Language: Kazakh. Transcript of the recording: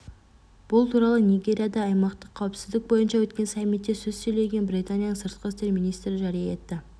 бұл туралы нигерияда аймақтық қауіпсіздік бойынша өткен саммитте сөз сөйлеген британияның сыртқы істер министрі жария етті